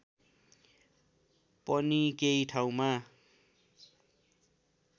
पनि केही ठाउँमा